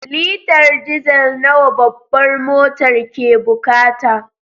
Litar diesel nawa babbar motar ke bukata.